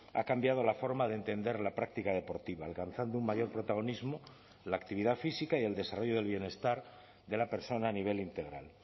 ha cambiado la forma de entender la práctica deportiva alcanzando un mayor protagonismo la actividad física y el desarrollo del bienestar de la persona a nivel integral